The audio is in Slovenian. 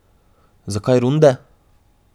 Zakaj runde?